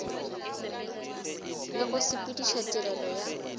le go sepediša tirelo ya